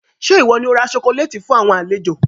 Ṣé ìwọ ni ó ra "sokoléétì" fun àwọn àlejò?